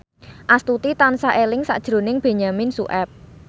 Astuti tansah eling sakjroning Benyamin Sueb